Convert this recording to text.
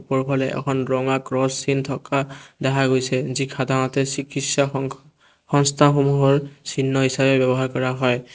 ওপৰৰ ফালে অকণ ৰঙা ক্ৰছ চিন থকা দেখা গৈছে যি সাধাৰণতে সংস্থাসমূহৰ চিহ্ন হিচাপে ব্যৱহাৰ কৰা হয়।